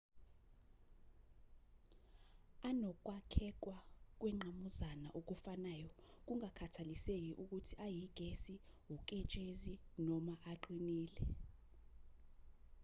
anokwakhekwa kwengqamuzana okufanayo kungakhathaliseki ukuthi ayigesi uketshezi noma aqinile